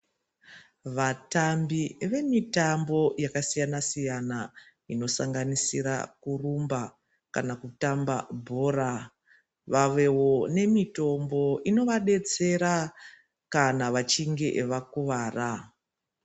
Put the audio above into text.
Vatambi vemitambo yakasiyana-siyana, inosanganisira kurumba kana kutamba bhora. Vavevo nemitombo inovabetsera kana vachinge vakuvara.